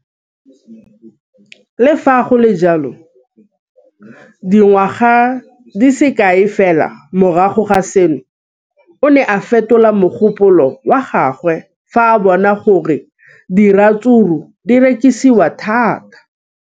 Le fa go le jalo, dingwaga di se kae fela morago ga seno, o ne a fetola mogopolo wa gagwe fa a bona gore diratsuru di rekisiwa thata.